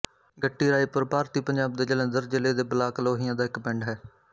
ਗੱਟੀ ਰਾਏਪੁਰ ਭਾਰਤੀ ਪੰਜਾਬ ਦੇ ਜਲੰਧਰ ਜ਼ਿਲ੍ਹੇ ਦੇ ਬਲਾਕ ਲੋਹੀਆਂ ਦਾ ਇੱਕ ਪਿੰਡ ਹੈ